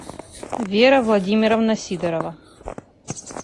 вера владимировна сидорова